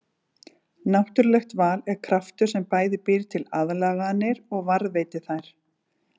Náttúrulegt val er kraftur sem bæði býr til aðlaganir og varðveitir þær.